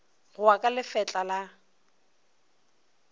go ya ka lefetla la